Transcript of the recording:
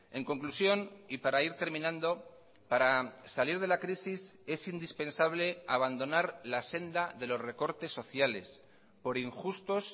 en conclusión y para ir terminando para salir de la crisis es indispensable abandonar la senda de los recortes sociales por injustos